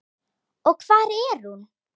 Og hvar er hún?